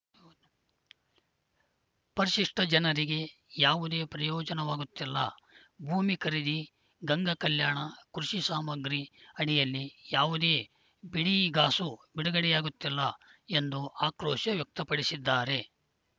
ಪರಿಶಿಷ್ಟಜನರಿಗೆ ಯಾವುದೇ ಪ್ರಯೋಜನವಾಗುತ್ತಿಲ್ಲ ಭೂಮಿ ಖರೀದಿ ಗಂಗಾ ಕಲ್ಯಾಣ ಕೃಷಿ ಸಾಮಗ್ರಿ ಅಡಿಯಲ್ಲಿ ಯಾವುದೇ ಬಿಡಿಗಾಸು ಬಿಡುಗಡೆಯಾಗುತ್ತಿಲ್ಲ ಎಂದು ಆಕ್ರೋಶ ವ್ಯಕ್ತಪಡಿಸಿದ್ದಾರೆ